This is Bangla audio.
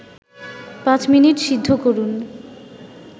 ৫ মিনিট সিদ্ধ করুন